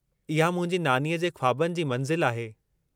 इहा मुंहिंजी नानीअ जे ख़्वाबनि जी मंज़िल आहे।